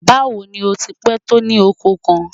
Báwo ni ó ti pẹ̀ tó ní ọkọ̀ kan?